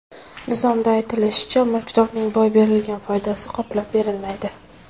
Nizomda aytilishicha, mulkdorning boy berilgan foydasi qoplab berilmaydi.